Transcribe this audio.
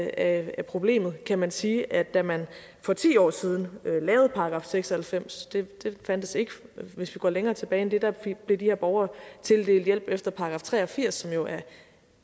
af problemet kan man sige at da man for ti år siden lavede § seks og halvfems den fandtes ikke hvis vi går længere tilbage end det da blev de her borgere tildelt hjælp efter § tre og firs som jo er